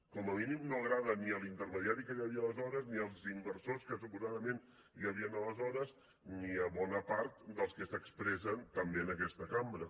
com a mínim no agrada ni a l’intermediari que hi havia aleshores ni als inversors que suposadament hi havien aleshores ni a bona part dels que s’expressen també en aquesta cambra